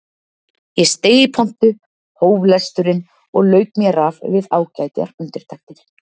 Ég steig í pontu, hóf lesturinn og lauk mér af við ágætar undirtektir.